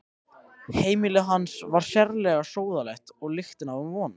Heimili hans var sérlega sóðalegt og lyktin af honum vond.